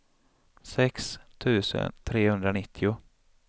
sex tusen trehundranittio